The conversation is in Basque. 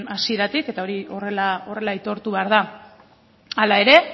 hasieratik eta hori horrela aitortu behar da